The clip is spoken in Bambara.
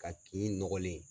Ka kin nɔgɔlen